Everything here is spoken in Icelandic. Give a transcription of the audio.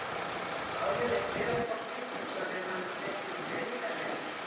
Álfi leist vel á hvolpinn og sagði að hann virtist greindarlegur.